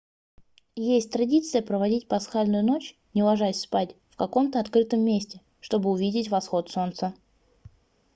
есть традиция проводить пасхальную ночь не ложась спать в каком-то открытом месте чтобы увидеть восход солнца